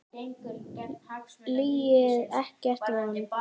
Lillý: Ekkert vont?